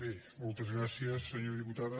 bé moltes gràcies senyora diputada